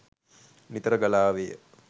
නිතර ගලා ආවේය.